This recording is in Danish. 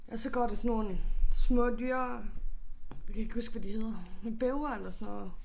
Og så går der sådan nogle små dyr jeg kan ikke huske hvad de hedder ikke bævere eller sådan noget